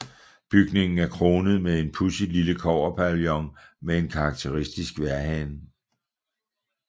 Bygningen er kronet med en pudsigt lille kobberpavillon med en karakteristisk vejrhane